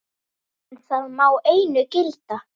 En það má einu gilda.